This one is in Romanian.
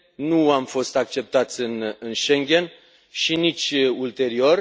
Nu am fost acceptați în Schengen și nici ulterior.